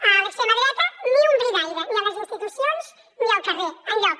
a l’extrema dreta ni un bri d’aire ni a les institucions ni al carrer enlloc